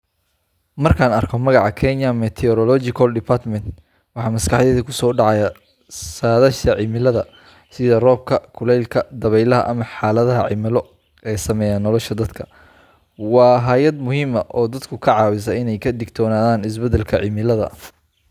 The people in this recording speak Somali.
Markaan arko magaca Kenya Meteorological Department, waxa maskaxdayda ku soo dhacaya saadaasha cimilada sida roobka, kulaylka, dabaylaha ama xaaladaha cimilo ee saameeya nolosha dadka. Waa hay’ad muhiim ah oo dadka ka caawisa in ay ka digtoonaadaan isbeddelka cimilada.